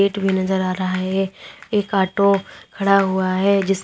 भी नजर आ रहा है एक ऑटो खड़ा हुआ है जिस--